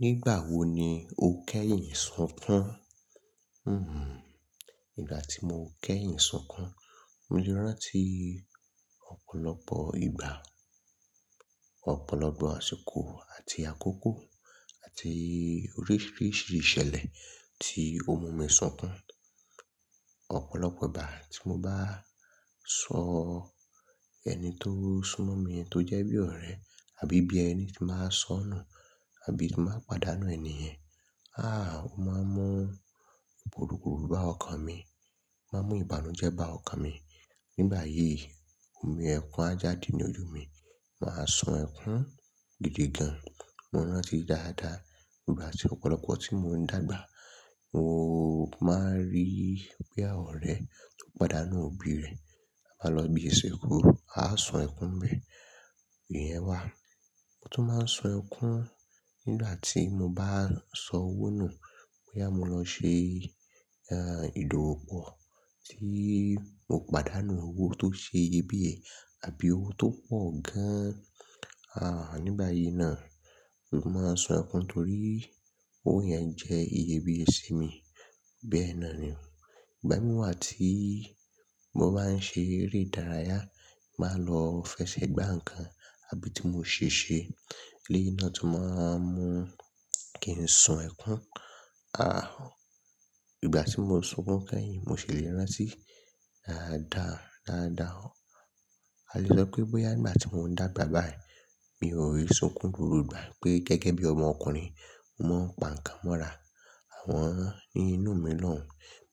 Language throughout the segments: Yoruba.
Nígbà wo ni o kẹ́yìn sunkún? Hmm. Nígbà tí mo kẹ́yìn sunkún, mo lè rántí ọ̀pọ̀lọpọ̀ ìgbà, ọ̀pọ̀lọpọ̀ àsìkò àti àkókò àti oríṣiríṣi ìṣẹ̀lẹ̀ tí o mu mi sunkún. Ọ̀pọ̀lọpọ̀ ìgbà tí mo bá sọ ẹni tó súnmọ́ mi tó jẹ́ bí ọ̀rẹ́ àbí bí ẹni tí màá sọ́nà àbí tí màá pàdánù ènìyen. Àá, mo máa ń mu gburugburu bá ọkàn mi, máa ń mu ìbànújẹ́ bá ọkàn mi. Nígbà yìí, omi ẹ̀kún á jáde ní ojú mi. Màá sọ ẹ̀kún gidi gan. Mo rántí dáadáa ìgbà tí ọ̀pọ̀lọpọ̀ tí mò ń dàgbà, mo máa ń rí pé àwọn ọ̀rẹ́ tó pàdánù òbí rẹ̀ á máa lọ ibi isinku, a á sọ ẹ̀kún bẹ́ẹ̀. Iyẹ́n wá. Mo tu máa ń su ẹ́kún nígbà tí mo bá ń sọ owó nù bóyá mo lọ ṣe, ah, ìdòwò pọ̀ tí mo pàdánù owó tó ṣe iyebíye àbí owó tó pọ̀ gan-an. Àá, nígbà yìí náà, mo máa ń sun ẹ́kún torí owó yẹn jẹ iyebíye sí mi. Bẹ́ẹ̀ náà ni. Ìgbà mìírà tí mo bá ń ṣe eré ìdárayá, màá lọ fẹsẹ̀ gbá ǹkan àbí tí mò ń ṣe iṣẹ́, léyìn náà tí màá mú kí n sun ẹ́kún. Àá, ìgbà tí mo sunkún kẹ́yìn, mo sì lè rántí dáadáa, dáadáa ó. A lè sọ pé bóyá ìgbà tí mò ń dàgbà báyìí, mi ò ki n sunkún gbogbo igba, pé gẹ́gẹ́ bí ọmọ ọkùnrin, mo ń pa ǹkan mọ́ra. Àm ọni inú mi lòun.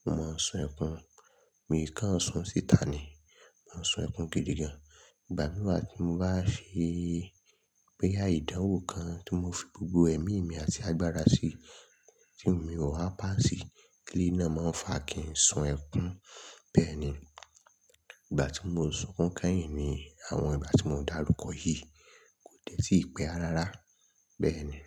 Mo máa ń sun ẹ́kún. Mi kàn ń sọ ọ́ síta ni. Mo ń sun ẹ́kún gidi gan. Ìgbà mìíràn tí mo bá se, boya ìdánwò kan tí mo fi gbogbo ẹ̀mí mi àti agbára sí tí mi ò wá pàṣì, eléyìn náà máa fàá kí n sọ ẹ́kún. Bẹ́ẹ̀ ni. Ìgbà tí mo sunkún kẹ́yìn ni àwọn ìgbà tí mò darúkọ yìí kò dẹ́ tíì pẹ́ rárá. Bẹ́ẹ̀ ni.